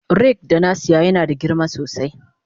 Rake da na saya yana da girma sosai.